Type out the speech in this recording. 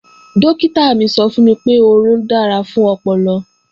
Dọ́kítà mi sọ fún mi pé, orun da fún ọpọlọ